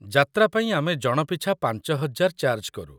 ଯାତ୍ରା ପାଇଁ ଆମେ ଜଣ ପିଛା ୫ ହଜାର ଚାର୍ଜ କରୁ।